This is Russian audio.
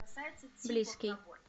близкий